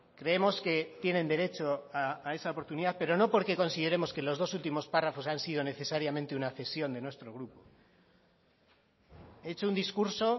creemos que tienen derecho a esa oportunidad pero no porque consideremos que los dos últimos párrafos han sido necesariamente una cesión de nuestro grupo he hecho un discurso